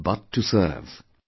But to serve'